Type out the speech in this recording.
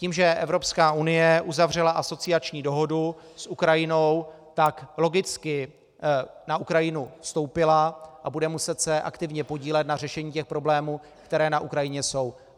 Tím, že Evropská unie uzavřela asociační dohodu s Ukrajinou, tak logicky na Ukrajinu vstoupila a bude muset se aktivně podílet na řešení těch problémů, které na Ukrajině jsou.